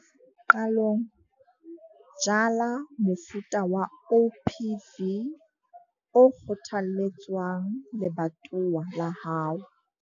Qalong, jala mofuta wa OPV o kgothalletswang lebatowa la hao.